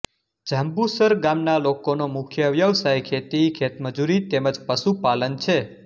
જાંબુસર ગામના લોકોનો મુખ્ય વ્યવસાય ખેતી ખેતમજૂરી તેમ જ પશુપાલન છે